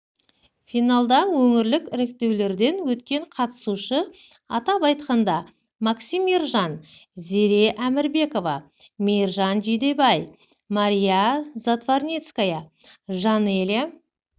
финалда өңірлік іріктеулерден өткен қатысушы атап айтқанда максим ержан зере әмірбекова мейіржан жидебай мария затварницкая жанелья